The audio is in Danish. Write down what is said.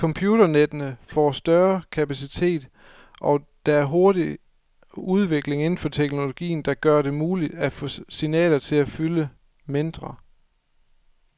Computernettene får større kapacitet, og der er hurtig udvikling inden for teknologien, der gør det muligt at få signaler til at fylde mindre.